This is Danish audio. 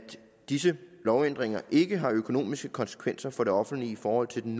disse lovændringer ikke har økonomiske konsekvenser for det offentlige i forhold til den